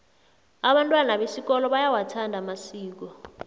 abantwana besikolo bayawathanda amasiko